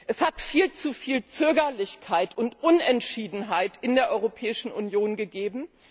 Es hat viel zu viel Zögerlichkeit und Unentschiedenheit in der Europäischen Union gegeben.